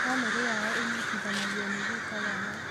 Bamĩri yao ĩnyitithanagio nĩ guka wao